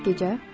Bəs gecə?